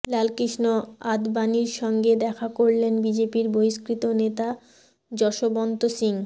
লালকৃষ্ণ আদবানীর সঙ্গে দেখা করলেন বিজেপির বহিষ্কৃত নেতা যশবন্ত সিং